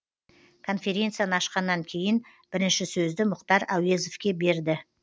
конференцияны ашқаннан кейін бірінші сөзді мұхтар әуезовке берді